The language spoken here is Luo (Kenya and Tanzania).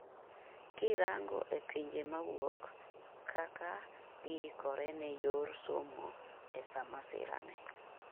kirango e pinje mawuok, kaka giikore ne ne yor somo e sa masira ni